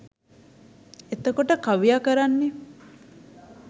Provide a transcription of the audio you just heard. එතකොට කවියා කරන්නේ